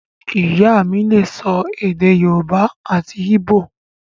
Ìyá mí lè sọ èdè yóòbá àti íbò